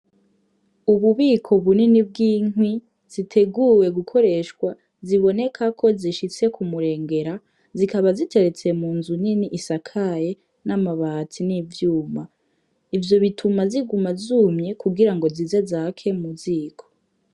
Ububiko bunini bw'inkwi ziteguwe gukoreshwa ziboneka ko zishitse k'umurengera zikaba ziteretse mu nzu nini isakaye n' amabati n' ivyuma, ivyo bituma ziguma zumye kugira ngo zize zake mu ziko.